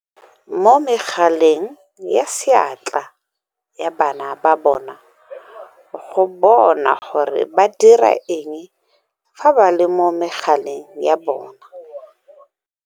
Mo megaleng ya seatla ya bana ba bona go bona gore ba dira eng fa ba le mo megaleng ya bona.